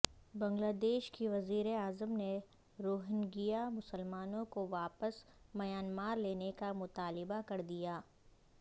بنگلہ دیش کی وزیراعظم نے روہنگیا مسلمانوں کو واپس میانمار لینے کا مطالبہ کردیا